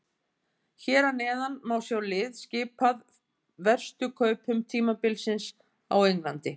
Hér að neðan má sjá lið skipað verstu kaupum tímabilsins á Englandi.